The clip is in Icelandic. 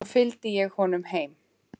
Svo fylgdi ég honum heim.